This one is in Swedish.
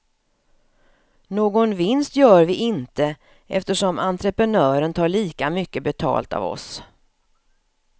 Någon vinst gör vi inte, eftersom entrepenören tar lika mycket betalt av oss.